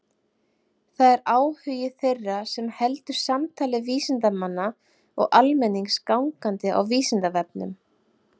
Það er áhugi þeirra sem heldur samtali vísindamanna og almennings gangandi á Vísindavefnum.